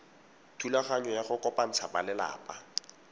thulaganyo ya go kopantsha balelapa